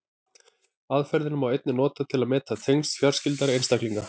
Aðferðina má einnig nota til að meta tengsl fjarskyldari einstaklinga.